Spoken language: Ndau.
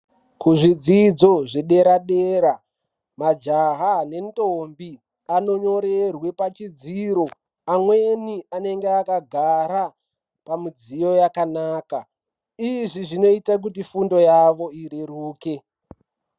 Kuzvidzidzo zvedera-dera majaha nendombi anonyorerwe pachidziro amweni anenge akagara pamidziyo yakanaka. Izvi zvinoita kuti fundo yavo ireruke.